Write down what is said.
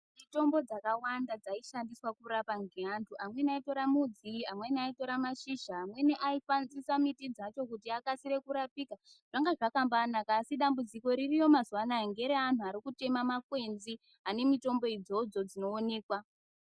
Mitombo dzakawanda dzaishandiswa kurapa ngeantu amweni aitora midzi amweni aitora mashizha amweni aishandisa miti dzacho kuti akasire kurapika zvanga zvakambainaka asi dambudziko ririyo mazuvaanaya ngere antu arikutema makwenzi ane mitombo idzodzo dzinoonekwa.